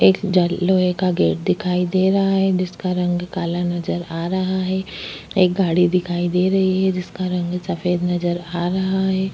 एक जल लोहे का गेट दिखाई दे रहा है जिसका रंग काला नजर आ रहा है एक गाड़ी दिखाई दे रही है जिसका रंग सफेद नजर आ रहा हैं।